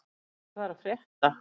Tumi, hvað er að frétta?